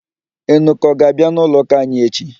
Enuka ọ ga-abịa n'ụlọụ́kà anyị echi?